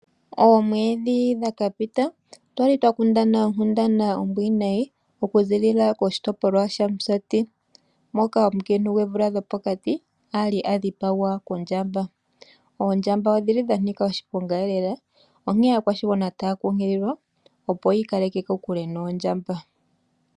Oomweedhi dha ka pita otwali twa kundana onkundana ombwinayi okuziilila moshitopolwa shaMusati, moka omukiintu goomvula dhopokati a li a dhipagwa kondjamba. Oondjamba odhi li dha nika oshiponga elela, onkene aakwashigwana taya kunkililwa, opo ya ikaleke kokule noondjamba.